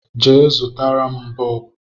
Je, zụtara m bọọbụ